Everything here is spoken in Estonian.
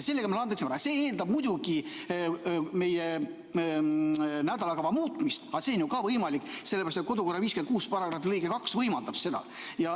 See eeldab muidugi meie nädalakava muutmist, aga see on ju ka võimalik, sellepärast et kodu- ja töökorra seaduse § 56 lõige 2 võimaldab seda.